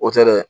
O tɛ dɛ